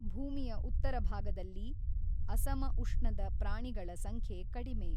ಭೂಮಿಯ ಉತ್ತರ ಭಾಗದಲ್ಲಿ ಅಸಮಉಷ್ಣದ ಪ್ರಾಣಿಗಳ ಸಂಖ್ಯೆ ಕಡಿಮೆ.